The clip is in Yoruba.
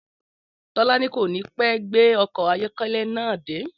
Tó̩lání kò ní pé gbé o̩kò̩ ayó̩ké̩lé̩ náà dé